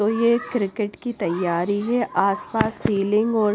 तो ये एक क्रिकेट की तैयारी है आसपास सीलिंग और--